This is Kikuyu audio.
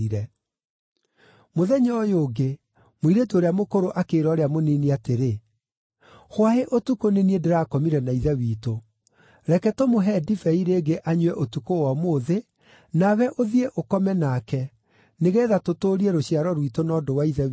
Mũthenya ũyũ ũngĩ, mũirĩtu ũrĩa mũkũrũ akĩĩra ũrĩa mũnini atĩrĩ, “Hwaĩ ũtukũ nĩ niĩ ndĩrakomire na ithe witũ. Reke tũmũhe ndibei rĩngĩ anyue ũtukũ wa ũmũthĩ, nawe ũthiĩ ũkome nake, nĩgeetha tũtũũrie rũciaro rwitũ na ũndũ wa ithe witũ.”